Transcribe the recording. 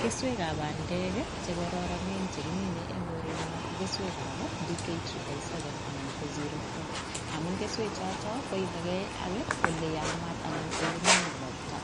Keswekab bandek ii che kororonen che kimine eng korenyo ko keswekab Dk tripple seven anan ko zero four, amun keswechoto koyomeke ak oleyamat anan ko ole mining ropta,